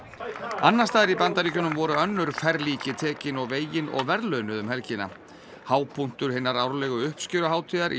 annars staðar í Bandaríkjum voru önnur ferlíki tekin og vegin og verðlaunuð um helgina hápunktur hinnar árlegu uppskeruhátíðar í